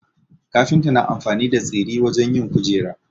Kafinta na amfani da tsiri wajen yin kujera